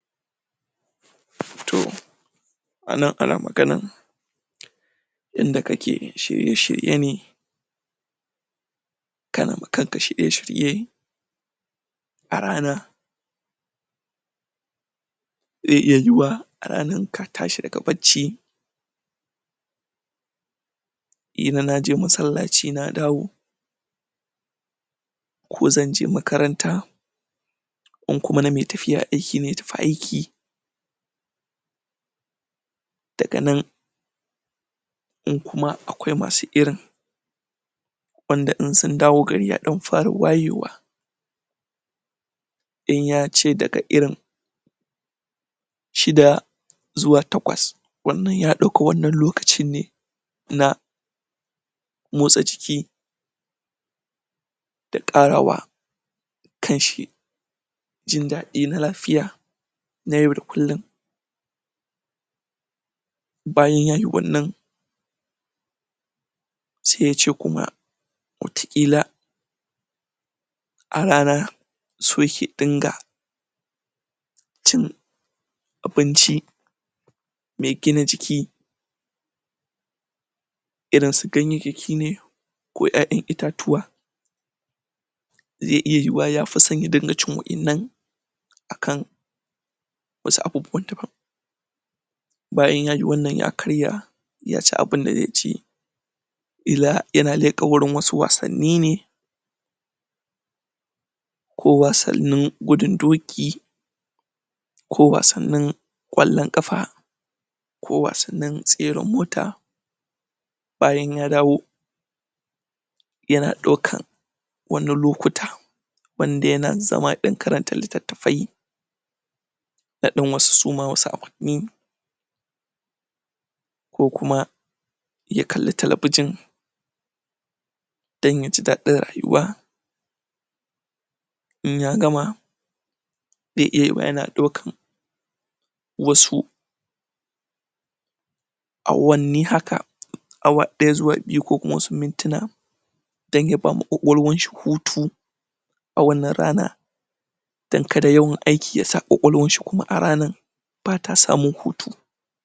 tooo anan ana maganan inda kake shirye- shirye ne kana ma kanka shirye shirye a rana zai iya yuyuwa, a ranan ka tashi daga barci kila na je masallaci na dawo ko zanje makaranta in kuma na mai tafiya aiki ne ya tafi ayki daga nan in kuma akwai masu irin wanda in sun dawo gari ya fara wayewa in ya ce daga irin shida zuwa takwas wannan ya dauka wannan loka cinne na matsa jiki da karawa kanshi da jin dadi na lafiya na yau da kullun bayan ya yi wannan sai ya ce kuma wata kila a rana so yake ya dinga cin abinci mai gina jiki irin su ganyayyaki ne ko 'ya-'yan itatuwa zai iya yuyuwa ya fisan irin wa'yannan akan wasu abubuwan da bayan ya yi wannan ya karya ya ci abin da zai ci illa yana leka wurin wasu wasanni ne ko wasannin gudin doki ko wasannin kwallon kafa ko wasannin tseran mota bayan ya dawo yana daukan wannan lokuta wanda yana dan zama dan karanta littattafe na dan wasu suma wadan su awanni ko kuma ya kalli talbijin dan ya ji dadin rayuwa in ya gama zai iya yuyuwa yana dukan wasu awanni haka awa daya zuwa biyu ko wasu mintina dan y bawa kwakwaiwan shi hutu a wnnab rana dan kada yawan ayki ya sa kuma kwakwalwanshikuma a ranan bata samun hutu